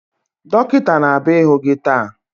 Dọkịta na-abịa ịhụ gị taa